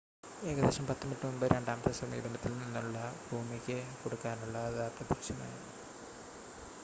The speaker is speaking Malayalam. ഏകദേശം 10 മിനിറ്റ് മുമ്പ് രണ്ടാമത്തെ സമീപനത്തിൽ നിന്നുള്ള ഭൂമിയ്ക്ക് കൊടുക്കാനുള്ള അത് അപ്രത്യക്ഷമായി